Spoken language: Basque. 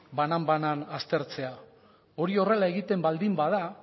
banan banan aztertzea hori horrela egiten baldin bada